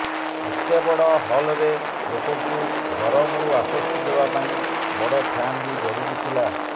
ଏତେ ବଡ ହଲ୍ରେ ଲୋକଙ୍କୁ ଗରମରୁ ଆଶ୍ୱସ୍ତି ଦେବା ପାଇଁ ବଡ ଫ୍ୟାନ ବି ଜରୁରୀ ଥିଲା